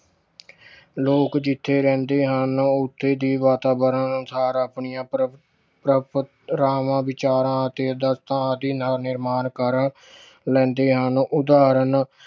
ਲੋਕ ਜਿੱਥੇ ਰਹਿੰਦੇ ਹਨ ਉੱਥੇ ਦੀ ਵਾਤਾਵਰਨ ਅਨੁਸਾਰ ਆਪਣੀਆਂ ਪਰੰ~ ਪਰੰਪਰਾਵਾਂ, ਵਿਚਾਰਾਂ ਅਤੇ ਆਦਰਸਾਂ ਆਦਿ ਨਾ ਨਿਰਮਾਣ ਕਰ ਲੈਂਦੇ ਹਨ ਉਦਾਹਰਣ